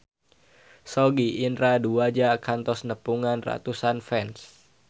Sogi Indra Duaja kantos nepungan ratusan fans